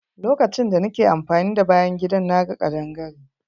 Lokacin da nake amfani da bayan gidan, na ga kaɗangare.